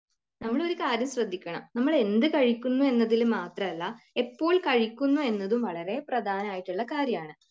നമ്മൾ ഒരു കാര്യം ശ്രദ്ധിക്കണം, നമ്മൾ എന്ത് കഴിക്കുന്നു എന്നതിൽ മാത്രമല്ല, എപ്പോൾ കഴിക്കുന്നു എന്നതും വളരെ പ്രധാനായിട്ടുള്ള കാര്യമാണ്.